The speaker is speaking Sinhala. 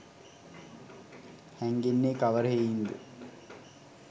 හැඟෙන්නේ කවර හෙයින්ද?